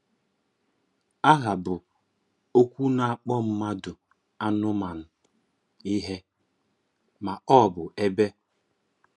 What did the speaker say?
Áhá bụ́ okwu na-akpọ̀ mmádụ, ànụ́manụ, ihe, ma ọ bụ ebe.